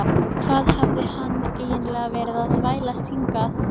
Hvað hafði hann eiginlega verið að þvælast hingað?